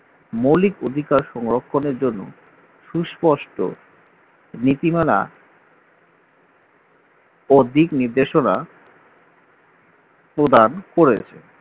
মৌলিক অধিকার সংরক্ষণের জন্য সুস্পষ্ট রীতিমালা ও দিক নির্দেশনা প্রদান করেছে